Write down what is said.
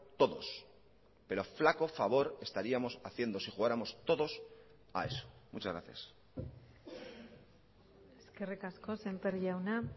todos pero flaco favor estaríamos haciendo si jugáramos todos a eso muchas gracias eskerrik asko sémper jauna